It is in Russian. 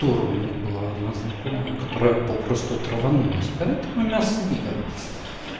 дура у меня была одна знакомая которая попросту траванулась поэтому мясо не ела